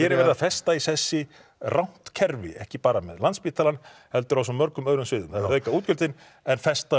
er verið að festa í sessi rangt kerfi ekki bara með Landspítalann heldur á svo mörgum öðrum sviðum það er verið reka útgjöldin en festa